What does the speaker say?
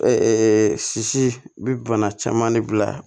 sisi bɛ bana caman de bila